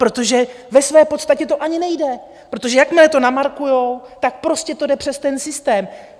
Protože ve své podstatě to ani nejde, protože jakmile to namarkují, tak prostě to jde přes ten systém.